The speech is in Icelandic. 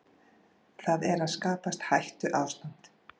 Það er að skapast hættuástand